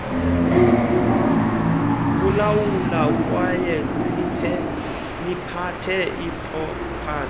kulawula kwayeliphathe ipropathi